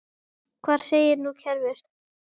Hvað segir nú kerfið?